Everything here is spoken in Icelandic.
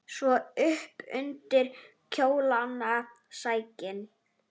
Svo upp undir kjólana sækinn!